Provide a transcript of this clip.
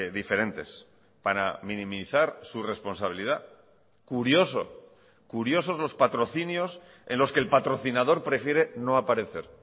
diferentes para minimizar su responsabilidad curioso curiosos los patrocinios en los que el patrocinador prefiere no aparecer